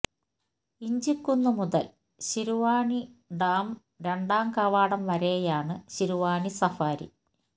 ഇഞ്ചിക്കുന്ന് മുതൽ ശിരുവാണി ഡാം രണ്ടാം കവാടം വരെയാണ് ശിരുവാണി സഫാരി